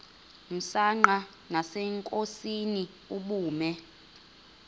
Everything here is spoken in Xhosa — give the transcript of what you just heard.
msanqa nasenkosini ubume